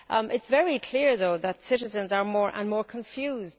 It is very clear, though, that citizens are more and more confused.